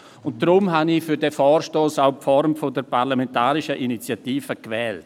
Deshalb habe ich die Form der parlamentarischen Initiative gewählt.